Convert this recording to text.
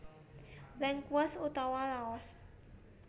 Lengkuas utawa Laos